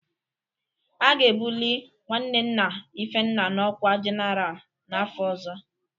A ga-ebuli nwanne nna Ifenna n'ọkwa General n'afọ ọzọ